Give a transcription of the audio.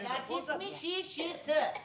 әкесі мен шешесі